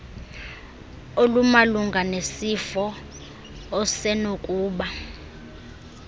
olumalunga nesifo osenokuba